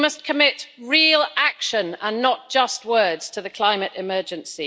You must commit real action, and not just words, to the climate emergency.